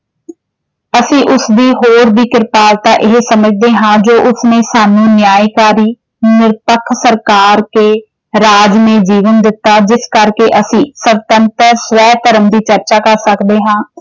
ਅਸੀਂ ਉਸਦੀ ਹੋਰ ਵੀ ਕ੍ਰਿਪਾਲਤਾ ਇਹ ਸਮਝਦੇ ਹਾਂ ਜੋ ਉਸ ਨੇ ਸਾਨੂੰ ਨਿਆਂਕਾਰੀ ਨਿਰਪੱਖ ਪ੍ਰਕਾਰ ਕੇ ਰਾਜ ਮੇਂ ਜੀਵਨ ਦਿੱਤਾ ਜਿਸ ਕਰਕੇ ਅਸੀਂ ਸੁਤੰਤਰ ਸਵੈ-ਧਰਮ ਦੀ ਚਰਚਾ ਕਰ ਸਕਦੇ ਹਾਂ।